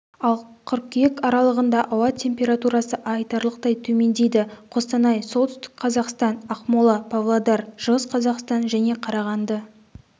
ал қыркүйек аралығында ауа температурасы айтарлықтай төмендейді қостанай солтүстік қазақстан ақмола павлодар шығыс қазақстан және қарағанды